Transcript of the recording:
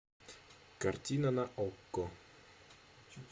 картина на окко